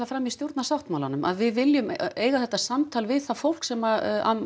fram í stjórnarsáttmálanum að við viljum eiga þetta samtal við það fólk sem